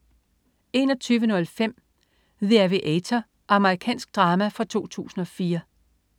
21.05 The Aviator. Amerikansk drama fra 2004